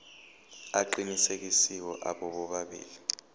aqinisekisiwe abo bobabili